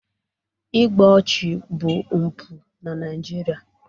igbu ọchụ bụ mpụ na Naịjirịa